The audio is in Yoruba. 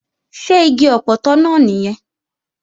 Ṣé igi ọpọtọ náà nìyẹn?